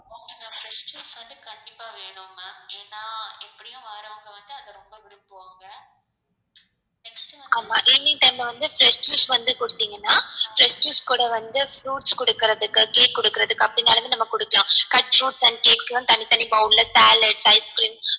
ஆமா evening time ல வந்து fresh juice வந்து குடுத்திங்கனா fresh juice கூட வந்து fruits குடுக்குறதுக்கு cake குடுக்குறதுக்கு அப்டினாளுமே நம்ம குடுக்கலாம் cut fruits and cakes லாம் தனி தனி bowl ல salad ice creams